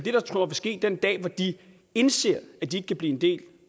ske den dag hvor de indser at de ikke kan blive en del